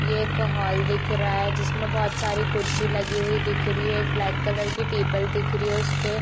ये एक हॉल दिख रहा जिसमें बहुत सारी कुर्शी लगी हुई दिख रही है एक ब्लैक कलर की टेबल दिख रही है और उस पे --